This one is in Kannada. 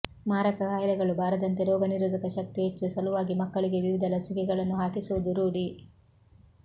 ಮಾರಕ ಕಾಯಿಲೆಗಳು ಬಾರದಂತೆ ರೋಗನಿರೋಧಕ ಶಕ್ತಿ ಹೆಚ್ಚಿಸುವ ಸಲುವಾಗಿ ಮಕ್ಕಳಿಗೆ ವಿವಿಧ ಲಸಿಕೆಗಳನ್ನು ಹಾಕಿಸುವುದು ರೂಢಿ